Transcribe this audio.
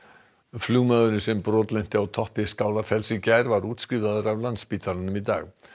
flugmaðurinn sem brotlenti á toppi Skálafells í gær var útskrifaður af Landspítalanum í dag